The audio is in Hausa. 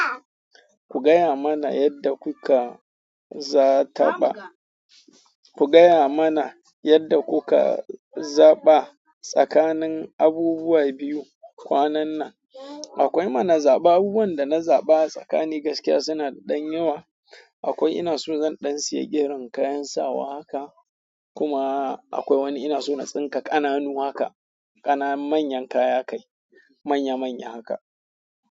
Ku gaya mana yadda kuka za taɓa. Ku gaya mana yadda kuka zaɓa tsakanin abubuwa biyu kwanannan. Akwai mana zaɓa. Abubuwan da na zaɓa tsakani gaskiya sina da ɗan yawa. Akwai ina so zan ɗan siye girin kayan sawa haka kuma akwai wani ina so na tsinka ƙananu haka. Ƙana manyan kaya kai. Manya manya haka.